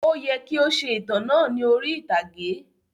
Ó yẹ kii ó ṣe ìtàn náà ni orí ìtàgé